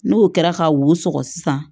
N'o kɛra ka wo sɔgɔ sisan